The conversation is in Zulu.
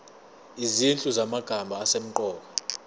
izinhlu zamagama asemqoka